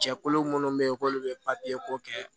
Cɛkulu munnu bɛ yen k'olu bɛ ko kɛ